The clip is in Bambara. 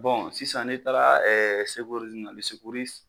Bɔn sisan ne taara ɛ sekurizimu na lɛ sekurisi